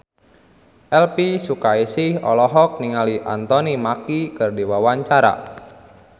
Elvi Sukaesih olohok ningali Anthony Mackie keur diwawancara